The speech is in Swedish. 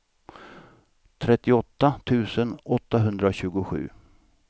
trettioåtta tusen åttahundratjugosju